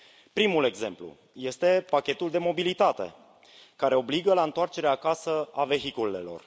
Primul exemplu este pachetul de mobilitate, care obligă la întoarcerea acasă a vehiculelor.